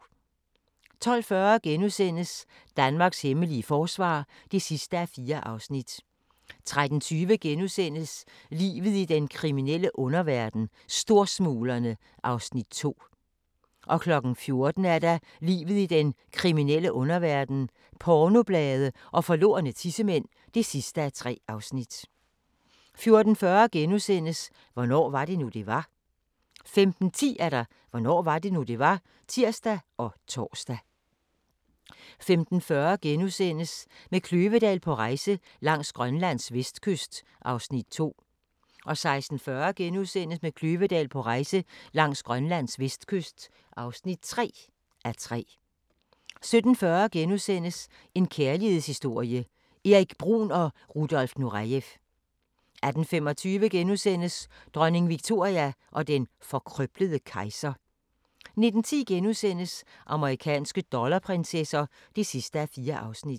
12:40: Danmarks hemmelige forsvar (4:4)* 13:20: Livet i den kriminelle underverden - Storsmuglerne (2:3)* 14:00: Livet i den kriminelle underverden - pornoblade og forlorne tissemænd (3:3) 14:40: Hvornår var det nu, det var? * 15:10: Hvornår var det nu, det var? (tir og tor) 15:40: Med Kløvedal på rejse langs Grønlands vestkyst (2:3)* 16:40: Med Kløvedal på rejse langs Grønlands vestkyst (3:3)* 17:40: En kærlighedshistorie – Erik Bruhn & Rudolf Nurejev * 18:25: Dronning Victoria og den forkrøblede kejser * 19:10: Amerikanske dollarprinsesser (4:4)*